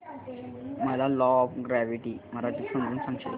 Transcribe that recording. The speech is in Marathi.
मला लॉ ऑफ ग्रॅविटी मराठीत समजून सांगशील का प्लीज